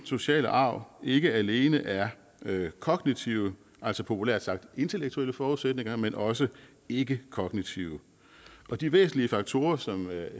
sociale arv ikke alene er kognitive altså populært sagt intellektuelle forudsætninger men også ikkekognitive og de væsentlige faktorer som